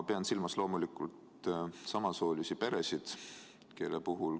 Pean silmas loomulikult samasoolisi peresid.